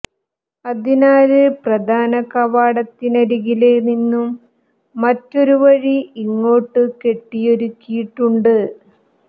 അതിനാല് പ്രധാന കവാടത്തിനരികില് നിന്നും മറ്റൊരു വഴി ഇങ്ങോട്ട് കെട്ടിയൊരുക്കിയിട്ടുണ്ട്